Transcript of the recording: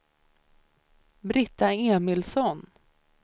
Britta Emilsson